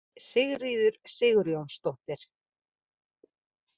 Sigríður Sigurjónsdóttir.